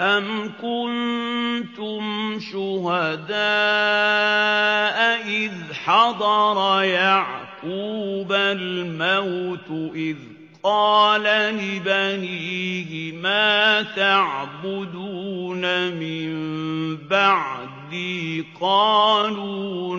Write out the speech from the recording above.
أَمْ كُنتُمْ شُهَدَاءَ إِذْ حَضَرَ يَعْقُوبَ الْمَوْتُ إِذْ قَالَ لِبَنِيهِ مَا تَعْبُدُونَ مِن بَعْدِي قَالُوا